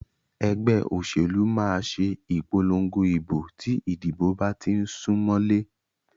Ẹgbẹ́ òṣèlú máà ṣe ìpòlongo ìbò tí ìdìbò bá tí ń sún mọlé.